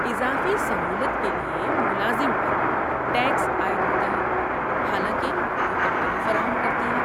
اضافی سہولت کے لیے ملازم پر ٹیکس عائد ہوتا ہے حالانکہ وہ کمپنی فراہم کرتی ہے۔